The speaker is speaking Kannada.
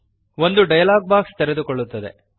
ಒಂದು ಸಂಭಾಷಣೆಯ ಪೆಟ್ಟಿಗೆ ತೆರೆದುಕೊಳ್ಳುತ್ತದೆ